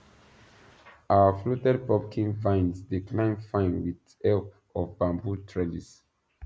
our fluted pumpkin vines dey climb fine with help of bamboo trellis